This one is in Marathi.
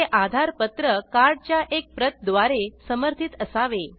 ते आधार पत्र कार्ड च्या एक प्रत द्वारे समर्थित असावे